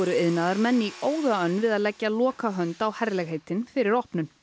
iðnaðarmenn í óða önn við að að leggja lokahönd á herlegheitin fyrir opnun